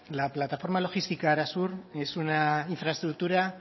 la plataforma logística arasur es una infraestructura